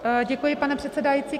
Děkuji, pane předsedající.